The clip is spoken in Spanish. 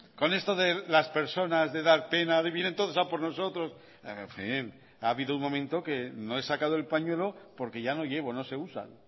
con esto de las personas de dar pena de vienen todos a por nosotros en fin ha habido un momento que no he sacado el pañuelo porque ya no llevo no se usa